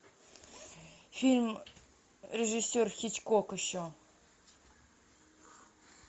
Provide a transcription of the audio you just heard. фильм режиссер хичкок еще